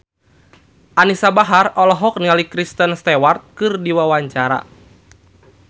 Anisa Bahar olohok ningali Kristen Stewart keur diwawancara